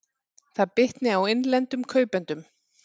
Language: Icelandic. Það bitni á innlendum kaupendum